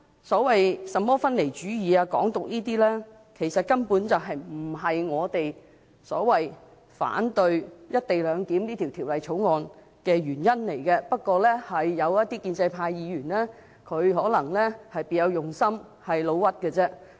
甚麼分離主義或"港獨"等，根本不是我們反對"一地兩檢"的原因，不過，有些建制派議員可能別有用心，"老屈"成風。